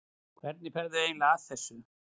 Hvernig ferðu eiginlega að þessu?